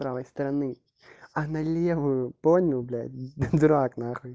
правой стороны а на левую понял блядь дурак нахуй